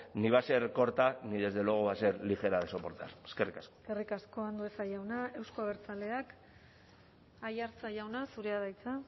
ni va a ser corta ni desde luego va a ser ligera de soportar eskerrik asko eskerrik asko andueza jauna euzko abertzaleak aiartza jauna zurea da hitza